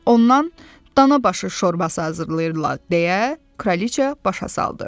Ondan dana başı şorbası hazırlayırlar deyə Kraliçea başa saldı.